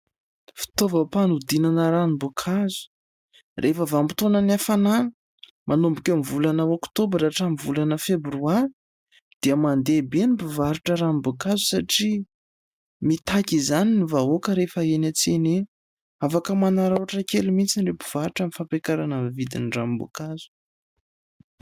Fitaovam-panodinana ranom-boankazo. Rehefa vanim-potoana ny hafanana ny manomboka eo amin'ny volana oktobra ka hatramin'ny volana febroary dia mandeha be ny mpivarotra ranom-boankazo satria mitaky izany ny vahoaka rehefa eny an-tsena eny. Afaka manararaotra kely mihitsy ny mpivarotra amin'ny fampiakarana amin'ny vidiny ranom-boankazo.